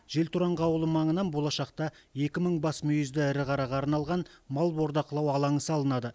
желтораңғы ауылы маңынан болашақта екі мың бас мүйізді ірі қараға арналған мал бордақылау алаңы салынады